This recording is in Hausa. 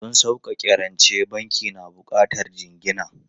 Don sauƙaƙe rance, banki na buƙatar jingina.